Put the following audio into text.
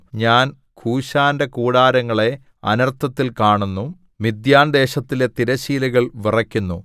ഞാൻ കൂശാന്റെ കൂടാരങ്ങളെ അനർത്ഥത്തിൽ കാണുന്നു മിദ്യാൻദേശത്തിലെ തിരശ്ശീലകൾ വിറയ്ക്കുന്നു